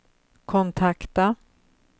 kontakta